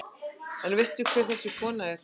En veistu hver þessi kona er?